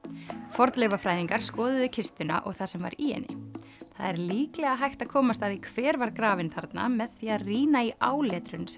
fornleifafræðingar skoðuðu kistuna og það sem var í henni það er líklega hægt að komast að því hver var grafinn þarna með því að rýna í áletrun sem